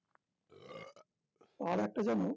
আরেকটা জান